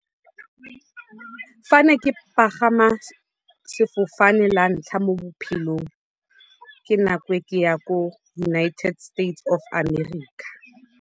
Fa ne ke pagama sefofane la ntlha mo bophelong, ke nako e ke ne ke ya ko United States of America.